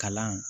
Kalan